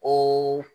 O